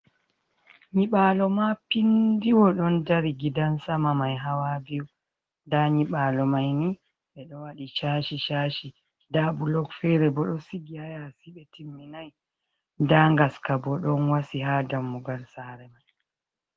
Nyiɓaalo mapindiwa ɗon dari, gidan sama mai hawa biyu. Nda nyiɓaalo mai ni ɓe ɗo waɗi chashi-chashi nda bulok feere bo ɗo sigi haa yaasi ɓe timminai, nda ngaska bo ɗon wasi haa dammugal saare mai.